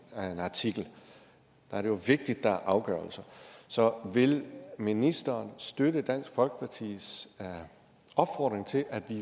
artikel det er jo vigtigt at der er afgørelser så vil ministeren støtte dansk folkepartis opfordring til at der